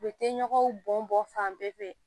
U bɛ tɛ ɲɔgɔn bɔn bɔn fan bɛɛ fɛ